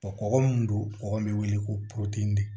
kɔgɔ min don kɔgɔ bɛ wele ko